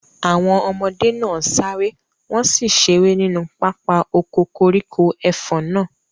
Àwọn ọmọdé náà sáré, wọn sì ṣeré nínú pápá oko koríko ẹfọ̀n náà.